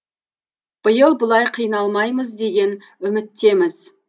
биыл бұлай қиналмаймыз деген үміттеміз